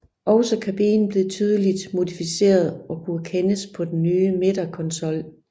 Også kabinen blev tydeligt modificeret og kunne kendes på den nye midterkonsol